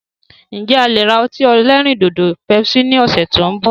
Ǹ jẹ̀ a lè ra ọtí ẹlẹ́rìndòdò "Pepsi" ni ọ̀sẹ̀ tí òun bọ̀.